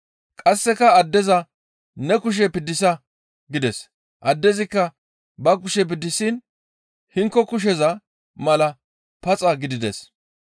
Qasseka addeza, «Ne kushe piddisa!» gides; addezikka ba kushe piddisiin hinko kusheza mala paxa gidides.